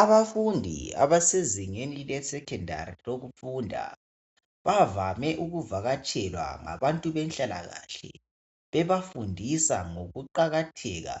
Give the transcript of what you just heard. abafundi abasezingeni le secondary lokufunda bavame ukuvakatshelwa ngabantu benhlalakahle bebafundisa ngokuqakatheka